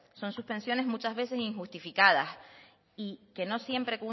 son suspensiones muchas veces injustificadas y que no siempre